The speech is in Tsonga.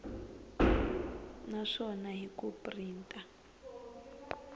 na swona hi ku printa